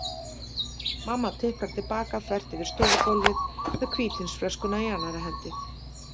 Mamma tiplar til baka þvert yfir stofugólfið með hvítvínsflöskuna í annarri hendi.